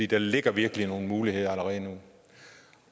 der ligger virkelig nogle muligheder allerede nu